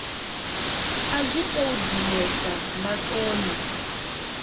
a zwi tou dinesa maṱoni